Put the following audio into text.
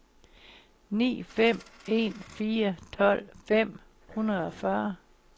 ni fem en fire tolv fem hundrede og fyrre